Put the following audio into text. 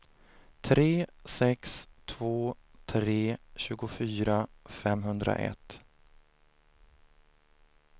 tre sex två tre tjugofyra femhundraett